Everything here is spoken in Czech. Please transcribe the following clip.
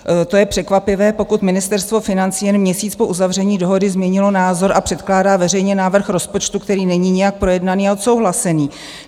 To je překvapivé, pokud Ministerstvo financí jen měsíc po uzavření dohody změnilo názor a předkládá veřejně návrh rozpočtu, který není nijak projednaný a odsouhlasený.